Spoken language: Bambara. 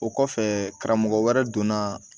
O kɔfɛ karamɔgɔ wɛrɛ donna